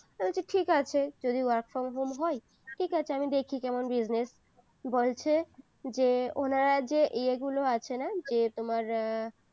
তো আমি বলছি ঠিক আছে যদি work from home হয় ঠিক আছে আমি দেখি কেমন business বলছে যে উনারা যে ইয়ে গুলো আছে না যে তোমার এর